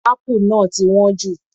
Apple náà ti wọ́n jù.